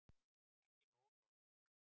Ekki nógu gott